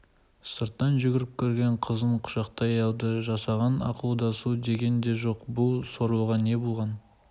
сырттан жүгіріп кірген қызын құшақтай алды жасаған ақылдасу деген де жоқ бұл сорлыға не болған